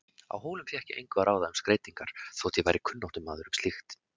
Á Hólum fékk ég engu að ráða um skreytingar þótt ég væri kunnáttumaður um slíkt.